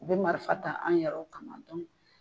U bi marifa ta an yɛrɛw kama